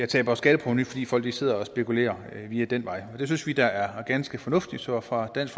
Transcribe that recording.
taber skatteprovenu fordi folk sidder og spekulerer via den vej det synes vi da er ganske fornuftigt så fra dansk